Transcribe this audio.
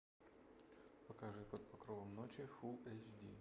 покажи под покровом ночи фулл эйч ди